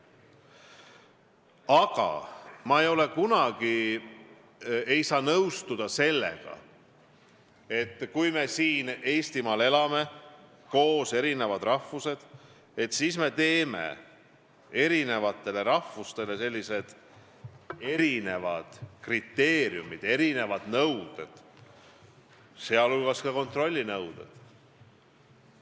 Aga ma ei saa nõustuda sellega, et kui me siin Eestimaal elame, eri rahvused koos, et siis me kehtestame eri rahvustele erinevad kriteeriumid, erinevad nõuded, sh kontrollinõuded.